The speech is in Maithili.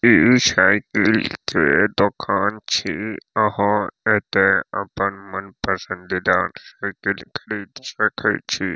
इ साइकिल छै दोकान छी अहाँ एते अपन मन पसंदीदा साइकिल खरीद सकइ छी।